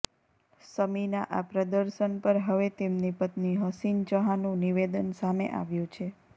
શમીના આ પ્રદર્શન પર હવે તેમની પત્ની હસીન જહાંનુ નિવેદન સામે આવ્યુ છે